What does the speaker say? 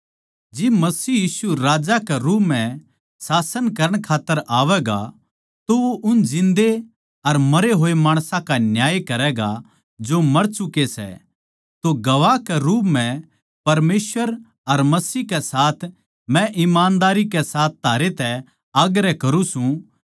जिब मसीह यीशु राजा के रूप म्ह शासन करण खात्तर आवैगा तो वो उन जिन्दे अर मरे होए माणसां का न्याय करैगा जो मर चुके सै तो गवाह के रूप म्ह परमेसवर अर मसीह कै साथ मै ईमानदारी कै साथ थारे तै आग्रह करूँ सूं